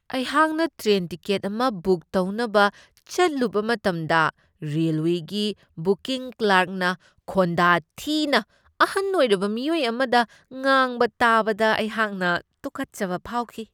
ꯑꯩꯍꯥꯛꯅ train ticket ꯑꯃ book ꯇꯧꯅꯕ ꯆꯠꯂꯨꯕ ꯃꯇꯝꯗ ꯔꯦꯜꯋꯦꯒꯤ ꯕꯨꯀꯤꯡ ꯀ꯭ꯂꯥꯔ꯭ꯛꯅ ꯈꯣꯟꯗꯥ ꯊꯤꯅ ꯑꯍꯟ ꯑꯣꯏꯔꯕ ꯃꯤꯑꯣꯏ ꯑꯃꯗ ꯉꯥꯡꯕ ꯇꯥꯕꯗ ꯑꯩꯍꯥꯛꯅ ꯇꯨꯀꯠꯆꯕ ꯐꯥꯎꯈꯤ ꯫